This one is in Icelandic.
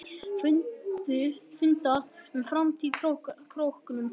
Fundað um framtíð á Króknum